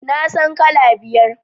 Na san kala biyar